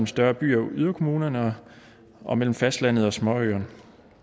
større byer og yderkommunerne og mellem fastlandet og småøerne